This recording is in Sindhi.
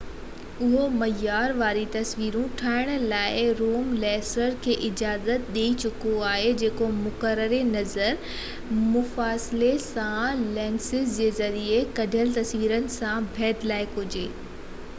اهو معيار واري تصوير ٺاهڻ لاءِ زوم لينسز کي اجازت ڏيئي چڪو آهي جيڪو مقرر نظر مفاصلي سان لينسز جي ذريعي ڪڍيل تصوير سان ڀيٽ لائق هجي